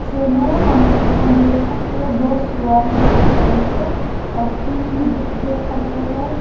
हमे हम देख सकते है दो सुअर है पिंक कलर के और तीन भी देख सकते हैं।